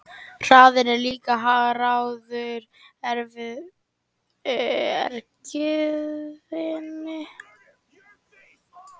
Hraðinn er líka háður efnisgerðinni.